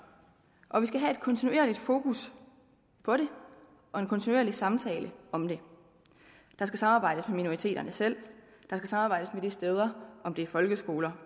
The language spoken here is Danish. og vi skal have et kontinuerligt fokus på det og en kontinuerlig samtale om det der skal samarbejdes med minoriteterne selv der skal samarbejdes med de steder om det er folkeskoler